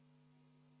Jõudu teile meie töös!